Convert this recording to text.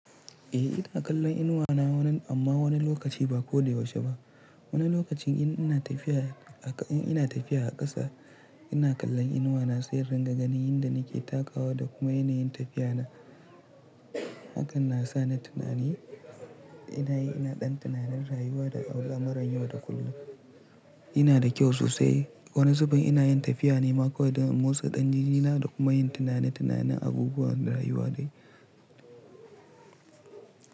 Eh ina kallon inuwa na wannan amma wani lokaci ba ko da yaushe ba. Wani lokacin in ina tafiya a ƙasa ina kallon inuwa na, sai ringa ganin inda nake takawa da kuma yanayin tafiya na. Hakan na sa ni tunani ina yi ina ɗan tunanin rayuwa da a wula maranyuwa da kullum. Ina da kyau sosai. Wani zuben ina yin tafiya ne ma ƙawai ɗa Mosa ɗan jinjina da kuma yin tunane-tunane abubuwan rayuwa ne.